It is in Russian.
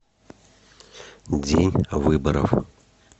день выборов